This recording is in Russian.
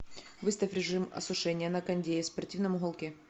выставь режим осушения на кондее в спортивном уголке